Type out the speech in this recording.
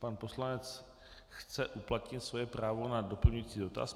Pan poslanec chce uplatnit svoje právo na doplňující dotaz.